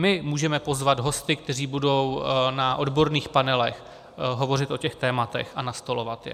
My můžeme pozvat hosty, kteří budou na odborných panelech hovořit o těch tématech a nastolovat je.